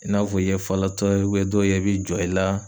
I n'a fɔ i ye falatɔ ye dɔw yɛ bi jɔ i la